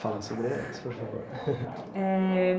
Fala sobre elas, por favor eh.